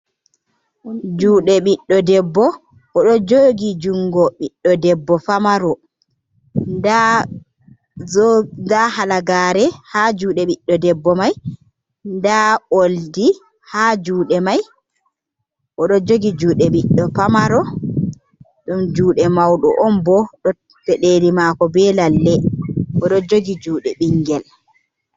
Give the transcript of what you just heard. Juɗe ɓiɗɗo debbo, odo jogi jungo ɓiɗdo debbo famaro nda zoo__ nda halagare ha juɗe ɓiɗɗo debbo mai. Nda oldi ha juɗe mai, odo jogi juɗe ɓiɗɗo famaro. Ɗum juɗe mauɗo on bo__ pedeli mako be lalle, odo jogi jude ɓingel.